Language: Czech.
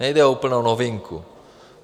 Nejde o úplnou novinku.